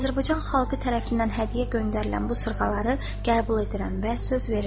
Azərbaycan xalqı tərəfindən hədiyyə göndərilən bu sırğaları qəbul edirəm və söz verirəm.